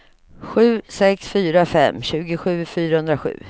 sju sex fyra fem tjugosju fyrahundrasju